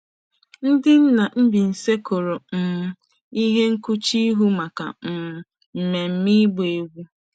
Ndị nna Mbaise kpụrụ um ihe nkpuchi ihu maka um mmemme ịgba egwu.